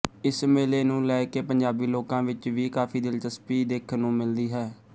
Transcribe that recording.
ਇਸ ਮੇਲੇ ਨੂੰ ਲੈ ਕੇ ਪੰਜਾਬੀ ਲੋਕਾਂ ਵਿੱਚ ਵੀ ਕਾਫੀ ਦਿਲਚਸਪੀ ਦੇਖਣ ਨੂੰ ਮਿਲਦੀ ਹੈ